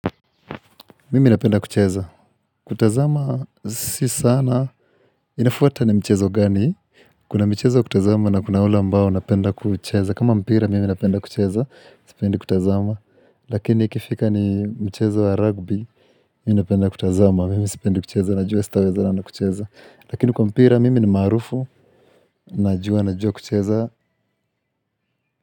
Mimi napenda kucheza, kutazama si sana, inafuata ni mchezo gani, kuna michezo wa kutazama na kuna wale ambao wanapenda kucheza, kama mpira mimi napenda kucheza, sipendi kutazama, lakini ikifika ni mchezo wa rugby, mimi napenda kutazama, mimi sipendi kucheza, najua sitawezana na kucheza, lakini kwa mpira mimi ni marufu, najua, najua kucheza.